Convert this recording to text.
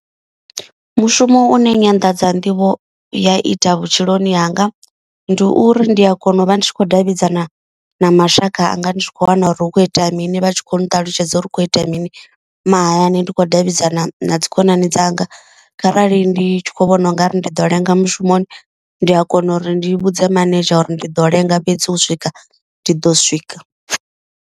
Mushumo une nyanḓadza nḓivho ya ita vhutshiloni hanga ndi uri ndi a kona u vha ndi tshi khou davhidzana na mashaka anga. Ndi tshi khou wana uri hu kho itea mini vha tshi khou nṱalutshedza uri hu kho itea mini mahayani. Ndi khou davhidzana na dzi khonani dzanga kharali ndi tshi khou vhona u nga ri ndi ḓo lenga mushumoni. Ndi a kona uri ndi vhudze manedzhara uri ndi ḓo lenga fhedzi u swika ndi ḓo swika.